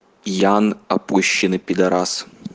янн опущенный педорас